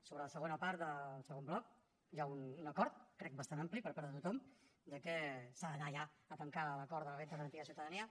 sobre la segona part del segon bloc hi ha un acord crec bastant ampli per part de tothom de que s’ha d’anar ja a tancar l’acord de la renda garantida de ciutadania